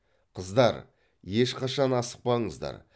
қыздар ешқашан асықпаңыздар